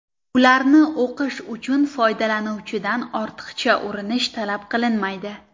Ularni o‘qish uchun foydalanuvchidan ortiqcha urinish talab qilinmaydi.